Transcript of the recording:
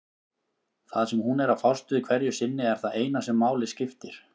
Það sem hún er að fást við hverju sinni er það eina sem máli skiptir.